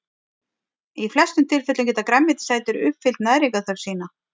Í flestum tilfellum geta grænmetisætur uppfyllt næringarþörf sína.